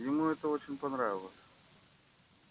ему это очень понравилось